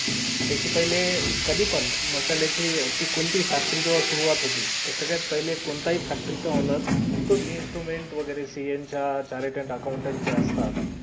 त्याच्या पहिले कधी पण मसाले ची ती कोणती हि facatory पण हि जेव्हा सुरुवात होती त त्याच्यात पहिले कोणत्या हि factory चा owner तोच instrument वैगेरे